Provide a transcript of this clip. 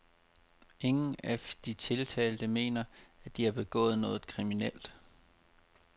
Ingen af de tiltalte mener, at de har begået noget kriminelt.